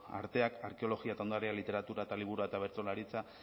arteak arkeologia eta ondarea literatura eta liburua eta bertsolaritza